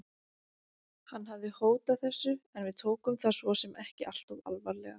Hann hafði hótað þessu en við tókum það svo sem ekki alltof alvarlega.